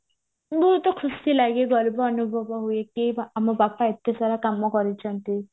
ବହୁତ ଖୁସି ଲାଗେ କି ଗର୍ବ ଅନୁଭବ ହୁଏ କି ଆମ ବାପା ଏତେ ସାରା କାମ କରିଚନ୍ତି